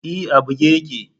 E, a buge yake.